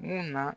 Mun na